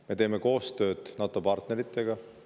Me teeme koostööd NATO-partneritega.